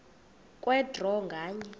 kwe draw nganye